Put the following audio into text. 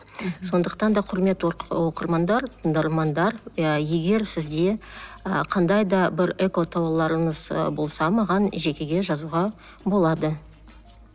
сондықтан да құрметті оқырмандар тыңдармандар иә егер сізде і қандайда бір экотауарларыңыз і болса маған жекеге жазуға болады